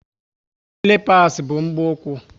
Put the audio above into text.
Silipas bu mgbu úkwú